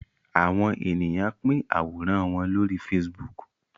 Àwọ̀n ènìyàn pin Àwòrán wón lórí Facebook.